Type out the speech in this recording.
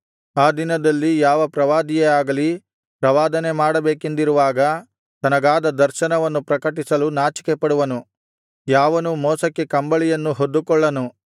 ಆ ದಿನದಲ್ಲಿ ಯಾವ ಪ್ರವಾದಿಯೇ ಆಗಲಿ ಪ್ರವಾದನೆ ಮಾಡಬೇಕೆಂದಿರುವಾಗ ತನಗಾದ ದರ್ಶನವನ್ನು ಪ್ರಕಟಿಸಲು ನಾಚಿಕೆಪಡುವನು ಯಾವನೂ ಮೋಸಕ್ಕಾಗಿ ಕಂಬಳಿಯನ್ನು ಹೊದ್ದುಕೊಳ್ಳನು